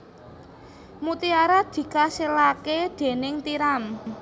Mutiara dikasilaké déning tiram